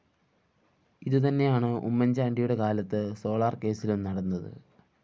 ഇതുതന്നെയാണ് ഉമ്മൻചാണ്ടിയുടെ കാലത്ത് സോളാർകേസ്സിലും നടന്നത്